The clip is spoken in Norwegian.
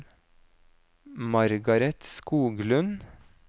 Margareth Skoglund